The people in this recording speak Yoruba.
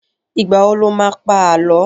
Ìgbà wo lo má pá Àlọ́?